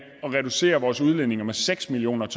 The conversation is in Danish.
at reducere vores udledninger med seks million